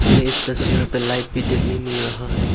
हमें इस तस्वीर पे लाइट भी देखने को मिल रहा है।